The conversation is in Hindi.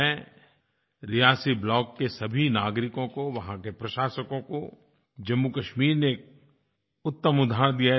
मैं रियासी ब्लॉक के सभी नागरिकों को वहाँ के प्रशासकों को जम्मूकश्मीर ने एक उत्तम उदाहरण दिया है